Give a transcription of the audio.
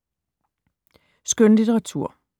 Skønlitteratur